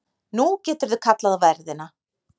Nú geturðu kallað á verðina.